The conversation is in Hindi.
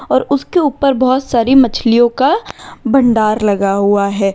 और उसके ऊपर बहोत सारी मछलियों का भंडार लगा हुआ है।